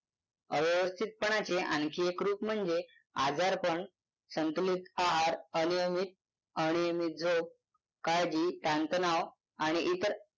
अव्यवस्थितपणाचे आणखी एक रूप म्हणजे आजारपण संतुलित आहार अनियमित अनियमित झोप काळजी ताणतणाव आणि इतर.